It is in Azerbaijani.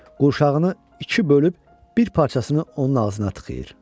Qurşağını iki bölüb bir parçasını onun ağzına tıxıyır.